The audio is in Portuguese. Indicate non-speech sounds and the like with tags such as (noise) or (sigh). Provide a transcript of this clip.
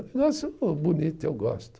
(unintelligible) bonito, eu gosto.